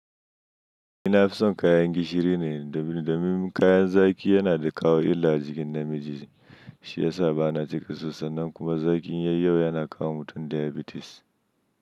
Nina fison kayan gishiri ne, domin kayan zaki yana da kawo illa a jikin namiji, shi ya sa ba na cika sosai nan kuma zakin yayi yawa yana kawo mutum diabetes.